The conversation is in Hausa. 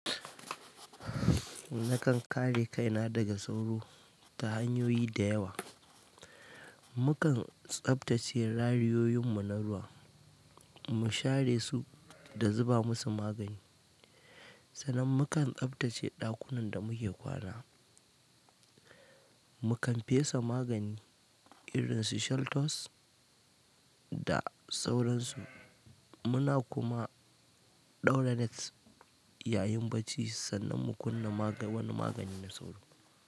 Nakan kare kaina daga sauro ta hanyoyi da yawa. Mukan tsaftace rariyoyin mu na ruwa, mu share su da zuba musu magani. Sannan mukan tsaftace ɗakunan da muke kwana, mu kan fesa magani, irin su Shelltose da sauransu. Muna kuma, ɗaura net yayin bacci sannan mu kunna maga-wani magani na sauro.